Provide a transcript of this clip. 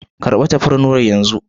Kar ba tafarnuwan yan zu.